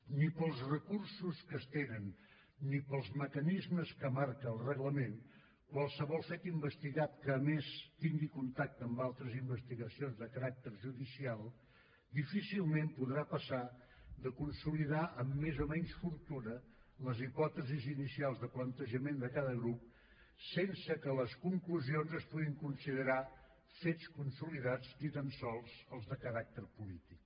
ni per als recursos que es tenen ni per als mecanismes que marca el reglament qualsevol fet investigat que a més tingui contacte amb altres investigacions de caràcter judicial difícilment podrà passar de consolidar amb més o menys fortuna les hipòtesis inicials de plantejament de cada grup sense que les conclusions es puguin considerar fets consolidats ni tan sols els de caràcter polític